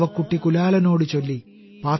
പാവക്കുട്ടി കുലാലനോടു ചൊല്ലി